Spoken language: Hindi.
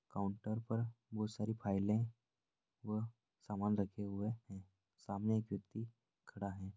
काउंटर पर बहुत सारी फाइले व सामान रखे हुए हैं| सामने एक व्यक्ति खड़ा है।